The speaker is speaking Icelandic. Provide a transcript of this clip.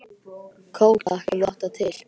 Kók takk, ef þú átt það til!